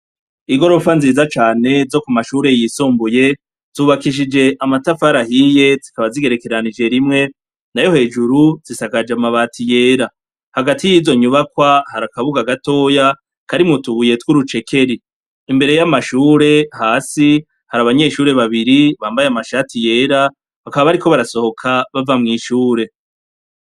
Igorofa nziza cane zo ku mashure yisumbuye zubakishije amatafari ahiye zikaba zigerekeranije rimwe nayo hejuru zisakaje amabati yera, hagati y'izo nyubakwa hari akabuga gatoya karimwo utubuye tw'urucekeri, imbere y'amashure hasi hari abanyeshure babiri bambaye amashati yera bakaba bariko barasohoka bava mw'ishure.